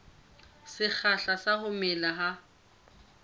sekgahla sa ho mela ha